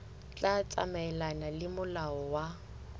tla tsamaelana le molao wa